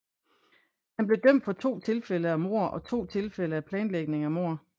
Han blev dømt for to tilfælde af mord og to tilfælde af planlægning af mord